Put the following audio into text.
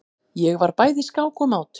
Ég var bæði skák og mát.